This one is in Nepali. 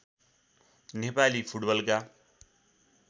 नेपाली फुटबलका